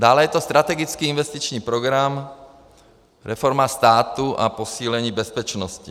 Dále je to strategický investiční program, reforma státu a posílení bezpečnosti.